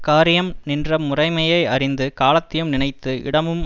காரியம் நின்ற முறைமையை யறிந்து காலத்தையும் நினைத்து இடமும்